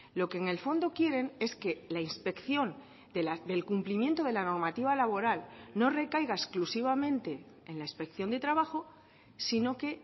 lo que en el fondo quieren es que la inspección del cumplimiento de la normativa laboral no recaiga exclusivamente en la inspección de trabajo sino que